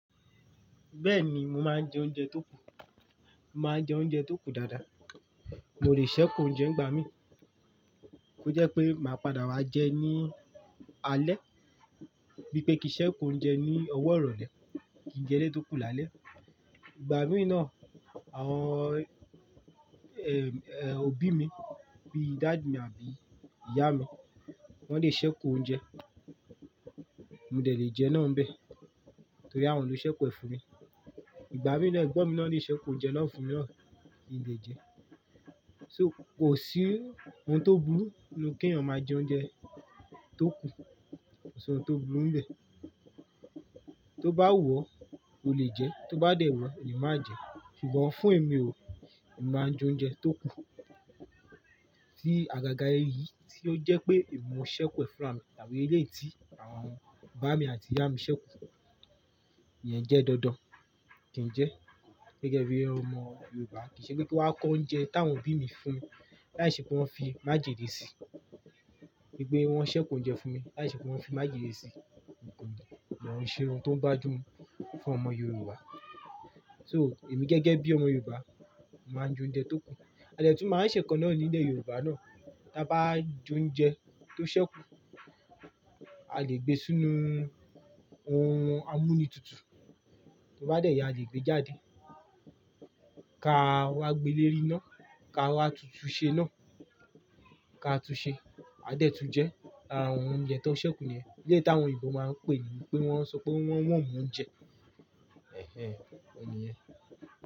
Bẹ́ẹ̀ni, mo máa ń jẹ oúnjẹ tó kù. Mo máa ń jẹ oúnjẹ tó kù dáadáa. Mo lè ṣẹ́ ku oúnjẹ ńgbà mí, kó jẹ́ pé màá padà wá jẹ ẹ́ ní alẹ́. Bí i pé kì n ṣẹ́ki oúnjẹ ní ọwọ́ ìrọ̀lẹ́, kì n jẹ eléyi tó kù lálẹ́. Ìgbà mìí na, àwọn, eh, eh, òbí mi bí dàd mí àbí ìyá mi, wọ́n lè ṣẹ́ku oúnjẹ, mo dẹ̀ lé jẹ náà n bẹ́ẹ̀, torí àwọn ló ṣẹ́ku ẹ́ fún mi. Ìgbà mìí na, ẹ̀gbọ́n mi náà lè ṣẹ́ku oúnjẹ naa fún mi náà kí n lè jẹ ẹ́. So kò sí ohun tó burú ninu kí èèyàn máa jẹ oúnjẹ tó kù. Kò si ọ́hun tó burú ń bẹ́ẹ̀. Tó bá wu ọ́, o lè jẹ ẹ́, tó bá dẹ̀ wu ọ́, o le máa jẹ ẹ́. Ṣùgbọ́n fún èmi o, èmi máa ń jẹ oúnjẹ tó kù. Tí àgàgà ẹyí tí ó jẹ́ pé èmi n mó ṣẹ́ku ẹ́ fúnra mi tàbí eléyi tí àwọn bàami mi àti ìyá mi ṣẹ́kù, ìyẹn jẹ́ dandan kí n jẹ ẹ́. Gẹ́gẹ́ bí ọmọ Yorùbá kìí ṣe pé kí n wa kó oúnjẹ táwọn obí mi fún, láìṣẹ́ pé wọ́n fi májèlé sí i. Wipé wọ́n ṣẹ́ku oúnjẹ fún mi láìṣẹ́ pé wọ́n fi májèlé sí i, kòun ṣe ohun tó bá ju mu fún ọmọ Yorùbá. So èmi gẹ́gẹ́ bí ọmọ Yorùbá máa ń jẹ oúnjẹ tó kù. A dè tún máa n ṣẹ̀ nkan náà nílẹ̀ Yorùbá náà. Tí a bá jẹ oúnjẹ tó ṣẹ́kù, a lè gbé sínú ohun amúnútutù, tí ó bá dẹ̀ yá, a lè gbé e jáde. Ká a wá gbé lé eriná, ká a wá tuntùn ṣe náà, káa tún ṣẹ. A dẹ̀ tún jẹ àwọn oúnjẹ tó ṣẹ́kù niyẹn. Eléyi tí àwọn òyìnbó máa ń pè ní pé wọ́n ṣọ pé wọ́n ń warm oúnjẹ. Ẹ̀hẹn, ọ̀hun niyẹn.